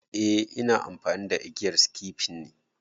A ina amfani da igiyar sikifin ne